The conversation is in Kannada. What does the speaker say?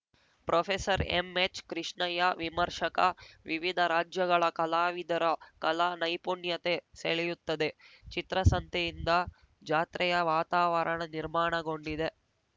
ಪ್ರೊಫೆಸರ್ಎಂಎಚ್‌ಕೃಷ್ಣಯ್ಯ ವಿಮರ್ಶಕ ವಿವಿಧ ರಾಜ್ಯಗಳ ಕಲಾವಿದರ ಕಲಾ ನೈಪುಣ್ಯತೆ ಸೆಳೆಯುತ್ತದೆ ಚಿತ್ರಸಂತೆಯಿಂದ ಜಾತ್ರೆಯ ವಾತಾವರಣ ನಿರ್ಮಾಣಗೊಂಡಿದೆ